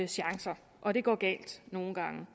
chancer og det går nogle gange